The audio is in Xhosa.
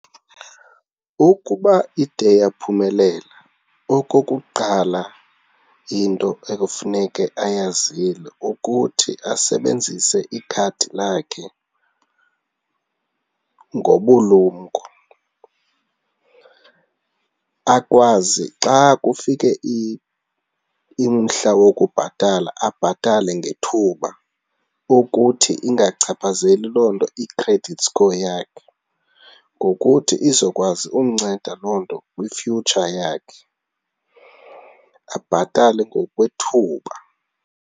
Ukuba ide yaphumelela, okokuqala into ekufuneke ayazile ukuthi asebenzise ikhadi lakhe ngobulumko. Akwazi xa kufike umhla wokubhatala, abhatale ngethuba ukuthi ingachaphazeli loo nto i-credit score yakhe ngokuthi izokwazi umnceda loo nto kwi-future yakhe, abhatale ngokwethuba.